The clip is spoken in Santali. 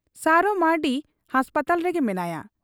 ᱥᱟᱨᱚ ᱢᱟᱺᱨᱰᱤ ᱦᱟᱥᱯᱟᱛᱟᱞ ᱨᱮᱜᱮ ᱢᱮᱱᱟᱭᱟ ᱾